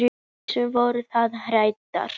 Gísli: Voruð þið hræddar?